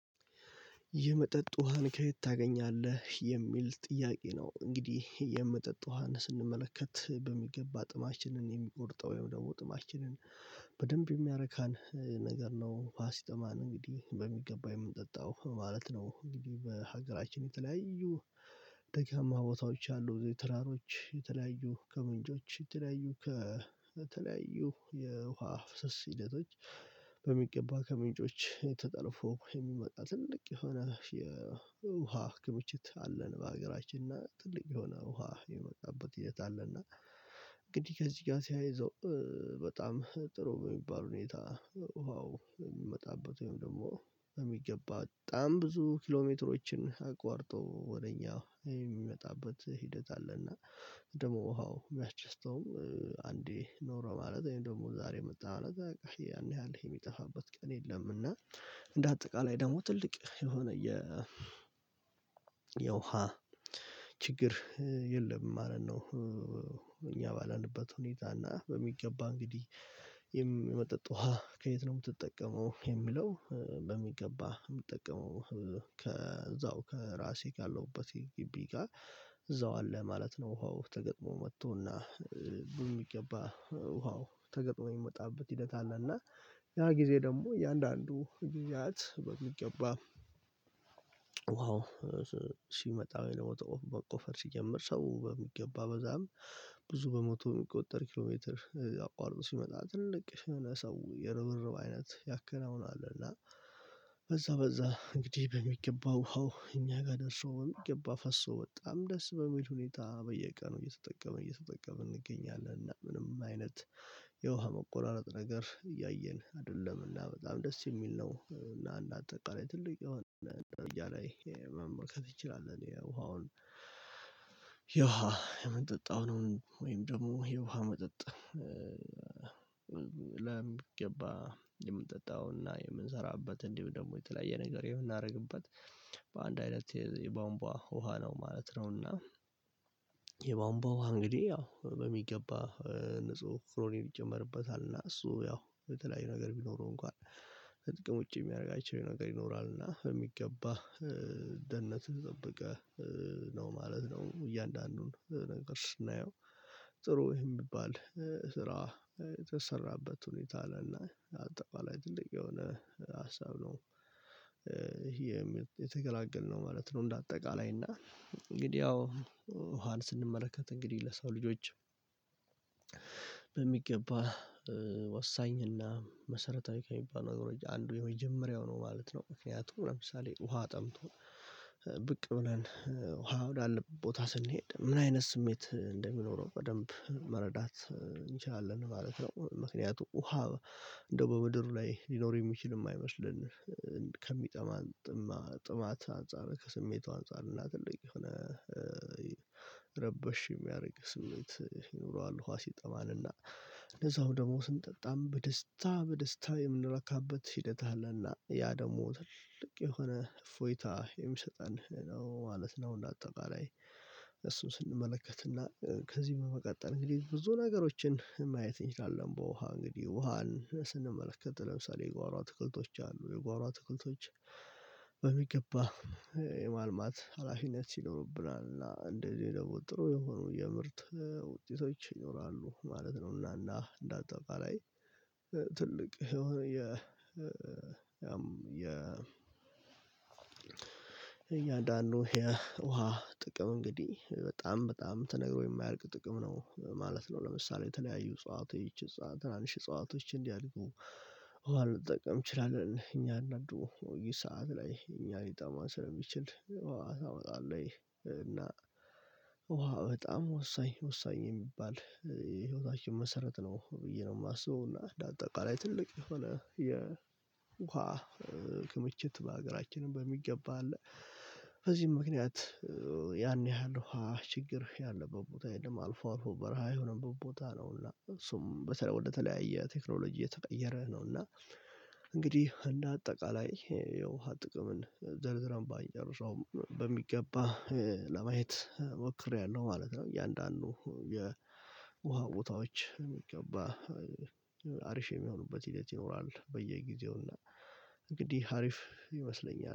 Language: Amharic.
የመጠጥ ውሃን ከየት ታገኛለህ የሚል ጥያቄ ነው እንግዲህ የመጠጥ ውሃን ስንመለከት በሚገባ ጥማችንን የሚቆርጠው ወይም ደግሞ ጥማችንን በደንብ የሚያረካን ነገር ነው ፋሲተማን እንግዲህ በሚገባ የምንጠጣው ማለት ነው እንግዲህ በሀገራችን የተለያዩ ቦታዎች አሉ ዘይትራሮች የተለያዩ ከመንጆች የተለያዩ ከተለያዩ የውሃ ፍስስ ሂደቶች በሚገባ ከምንጮች የተጠለፈው የሚመጣ ትልቅ የሆነ የውሃ ክምችት አለን በሀገራችን እና ትልቅ የሆነ ውሃ የመቃበት እየት አለና እንግዲህ ከዚህ ጋር ሲያይዘው በጣም ጥሩ በሚባል ሁኔታ ውሃው የሚመጣበት ወይም ደግሞ በሚገባ ጣም ብዙ ኪሎሜትሮችን አቋርጦ ወደኛ የሚመጣበት ሂደት አለና ደግሞ ውሃው ቢያችስተውም አንዴ ኖሮ ማለት እኔ ደግሞ ዛሬ የመጣ ማለት በቃ ያን ያህል የሚጠፋበት ቀን የለም እና እንደ አጠቃላይ ደግሞ ትልቅ የሆነ የ የውሃ ችግር የለም ማለት ነው ባለንበት ሁኔታ እና በሚገባ እንግዲህ የም የመጠጥ ውሃ ከየት ነው የምትጠቀመው? የሚለው በሚገባ የምትጠቀመው ከዛው ከራሴ ጋር ያለውበት ግቢ ጋር እዛው አለ ማለት ነው። ውሃው ተገጥሞ መጥቶና ብዙ የሚገባ ውሃው ተገጥሞ የሚመጣበት ሂደት አለ እና ያ ጊዜ ደግሞ የአንዳንዱ ጊዜያት በሚገባ ውሃው ሲመጣ ወይ ደግሞ ተቆፈር መቆፈር ሲጀመር ሰው በሚገባ በዛም ብዙ በሞቶ የሚቆጠር ኪሎሜትር አቋርጦ ሲመጣ ትልቅ የሆነ ሰው የርብርብ አይነት ያከናውናል። እና በዛ በዛ እንግዲህ በሚገባው ውሃው እኛ ጋር ደርሶ ወይም ገባ ፈሶ በጣም ደስ በሚል ሁኔታ በየቀኑ እየተጠቀምን እየተጠቀምን እንገኛለን። እና ምንም አይነት የውሃ መቆራረጥ ነገር እያየን አይደለምና በጣም ደስ የሚል ነው። እና አንደ አጠቃላይ ትልቅ የሆነ ደረጃ ላይ መመልከት ንችላለን። የውሃውን የውሃ የምንጠጣውን ወይም ደግሞ የውሃ መጠጥ ለሚገባ የምንጠጣውና የምንሰራበት እንዲህ ደግሞ የተለያየ ነገር ይሆናል እናደርግበት በአንድ አይነት የቦንቧ ውሃ ነው ማለት ነውና የባንባ ውሃ እንግዲህ ያው በሚገባ ንጹህ ፍሮኔር ይጨመርበታል እና እሱ ያው የተለያዩ ነገር ቢኖረው እንኳን ጥቅም ውጪ የሚያደርግ አይችልም ነገር ይኖራል እና የሚገባ ደህንነት ጠብቀህ ነው ማለት ነው እያንዳንዱን ነገር ስናየው ጥሩ የሚባል ስራ የተሰራበት ሁኔታ አለና አጠቃላይ ትልቅ የሆነ ሀሳብ ነው ይሄ የተገላገልነው ማለት ነው እንደ አጠቃላይ እና እንግዲህ ያው ውሃን ስንመለከት እንግዲህ ለሰው ልጆች በሚገባ ወሳኝና መሰረታዊ ከሚባል ነገሮች አንዱ የመጀመሪያው ነው ማለት ነው ምክንያቱም ለምሳሌ ውሃ ጠምቶ ብቅ ሆነን ውሃ ወዳለ ቦታ ስንሄድ ምን አይነት ስሜት እንደሚኖረው በደንብ መረዳት እንችላለን ማለት ነው ምክንያቱም ውሃ እንደው በምድር ላይ ሊኖር የሚችል የማይመስለን ከሚጠማጥማ ጥማት አንፃር ከስሜቷ አንፃር እና ትልቅ የሆነ ረበሽ የሚያደርግ ስሜት ይኖረዋል ውሃ ሲጠማን እና እንደዛው ደግሞ ስንጠጣም በደስታ በደስታ የምንረካበት ሂደት አለና ያ ደግሞ ትልቅ የሆነ እፎይታ የሚሰጠን ነው ማለት ነው እንዳጠቃላይ እሱ ስንመለከትና ከዚህ በመቀጠል እንግዲህ ብዙ ነገሮችን ማየት እንችላለን በውሃ እንግዲህ ውሃን ስንመለከት ለምሳሌ የጓሮ አትክልቶች አሉ የጓሮ ትክልቶች በሚገባ የማልማት ሀላፊነት ይኖርብናል እና እንደዚህ ደግሞ ጥሩ የሆኑ የምርት ውጤቶች ይኖራሉ ማለት ነው እና እና እንደ አጠቃላይ ትልቅ የኛን እያንዳንዱ የውሃ ጥቅም እንግዲህ በጣም በጣም ተነግሮ የማያርቅ ጥቅም ነው ማለት ነው ለምሳሌ የተለያዩ እጽዋቶች ይቺ እጽዋት ትናንሽ እጽዋቶች እንዲያድጉ ውሃ እንጠቀም እንችላለን እኛ እያንዳንዱ ሰዓት ላይ እኛ ሊጠማ ስለሚችል ውሃ ታወጣለህ እና ውሃ በጣም ወሳኝ ወሳኝ የሚባል ህይወታችን መሰረት ነው ብዬ ነው የማስበው እና እንደ አጠቃላይ ትልቅ የሆነ የውሃ ክምችት በሀገራችንም በሚገባ አለ በዚህም ምክንያት ያን ያህል ውሃ ችግር ያለበት ቦታ የለም አልፎ አልፎ በረሃ የሆነበት ቦታ ነውና እሱም በተራ ወደተለያየ ቴክኖሎጂ የተቀየረ ነውና እንግዲህ እንደ አጠቃላይ የውሃ ጥቅም ዘርዝረን ባይንጨርሰውም በሚገባ ለማየት ሞክሬያለሁ ማለት ነው እያንዳንዱ የውሃ ቦታዎች በሚገባ አሪፍ የሚሆኑበት ሂደት ይኖራል በየጊዜው እና እንግዲህ አሪፍ ይመስለኛል